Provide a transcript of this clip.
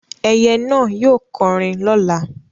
Ẹyẹ náà yóò kọrin lọ́la.